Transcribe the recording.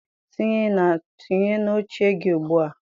tinye na oche gị ugbu a!